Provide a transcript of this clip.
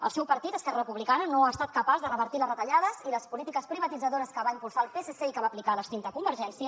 el seu partit esquerra republicana no ha estat capaç de revertir les retallades i les polítiques privatitzadores que va impulsar el psc i que va aplicar l’extinta convergència